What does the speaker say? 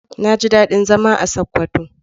Na ji daɗin zama a Sokoto.